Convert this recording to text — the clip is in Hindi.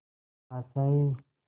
आशाएं